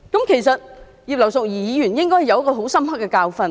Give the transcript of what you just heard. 其實，葉劉淑儀議員應該有很深刻的教訓。